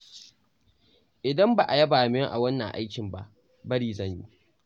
Idan ba a yaba min a wannan aikin ba, bari zan yi.